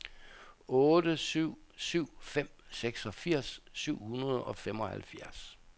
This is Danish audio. otte syv syv fem seksogfirs syv hundrede og femoghalvfjerds